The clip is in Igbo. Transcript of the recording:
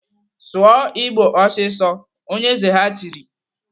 "Sụọ Igbo ọsịsọ!" Onye eze ha tiri.